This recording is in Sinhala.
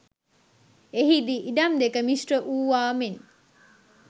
එහිදී ඉඩම් දෙක මිශ්‍ර වූවා මෙන්